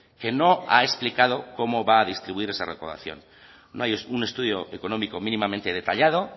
que no ha explicado cómo va a distribuir esa recaudación no hay un estudio económico mínimamente detallado